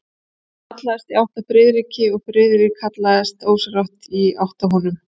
Hann hallaðist í átt að Friðriki og Friðrik hallaðist ósjálfrátt í átt að honum.